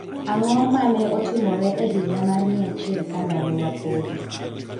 Ang'o ma ne otimore e higa mar 100 Ka Ndalowa Podi?